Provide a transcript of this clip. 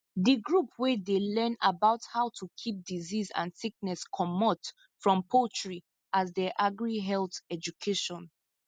the group wey dey learn about how to keep disease and sickness comot from poultry as der agrichealth education